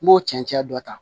N b'o cɛncɛn don tan